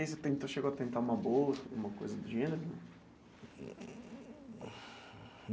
E aí você tentou chegou a tentar uma bolsa, alguma coisa do gênero?